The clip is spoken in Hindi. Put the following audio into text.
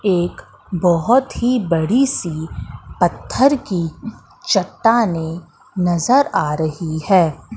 एक बोहोत ही बड़ी सी पत्थर की चट्टानें नजर आ रही है।